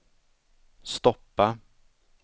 stoppa